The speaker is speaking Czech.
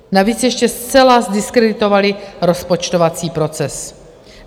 Navíc ještě zcela zdiskreditovali rozpočtovací proces.